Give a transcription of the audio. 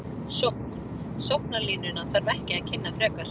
Sókn: Sóknarlínuna þarf ekki að kynna frekar.